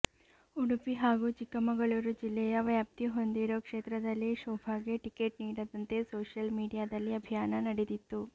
ಉಡುಪಿ ಹಾಗೂ ಚಿಕ್ಕಮಗಳೂರು ಜಿಲ್ಲೆಯ ವ್ಯಾಪ್ತಿ ಹೊಂದಿರೋ ಕ್ಷೇತ್ರದಲ್ಲಿ ಶೋಭಾಗೆ ಟಿಕೆಟ್ ನೀಡದಂತೆ ಸೋಷಿಯಲ್ ಮೀಡಿಯಾದಲ್ಲಿ ಅಭಿಯಾನ ನಡೆದಿತ್ತು